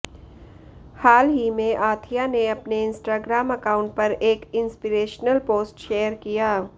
हाल ही में आथिया ने अपने इंस्टाग्राम अकाउंट पर एक इंस्पिरेशनल पोस्ट शेयर किया